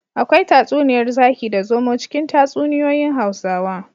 Akwai tatsuniyar zaki da zomo cikin tatsuniyoyin hausawa